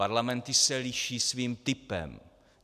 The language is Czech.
Parlamenty se liší svým typem.